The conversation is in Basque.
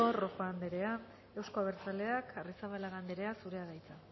rojo anderea euzko abertzaleak arrizabalaga anderea zurea da hitza